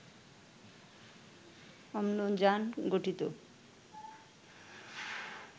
অম্লজান গঠিত